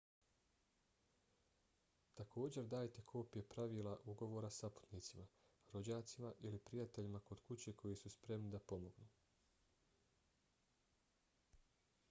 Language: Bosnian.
također dajte kopije pravila/ugovora saputnicima rođacima ili prijateljima kod kuće koji su spremni da pomognu